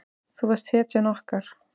Þú varst hetjan okkar.